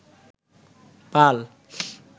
পাল